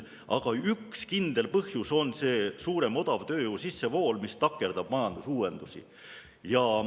Aga üks kindel põhjus on suurem odavtööjõu sissevool, mis takerdab majandusuuendusi.